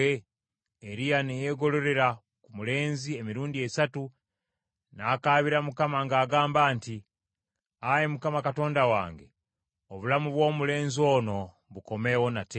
Eriya ne yeegololera ku mulenzi emirundi esatu, n’akaabira Mukama ng’agamba nti, “Ayi Mukama Katonda wange, obulamu bw’omulenzi ono bukomewo nate!”